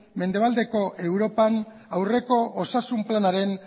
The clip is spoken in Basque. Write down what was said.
mendebaldeko europan aurreko osasun planaren